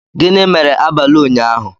Gịnị mere abalị ụnyahụ?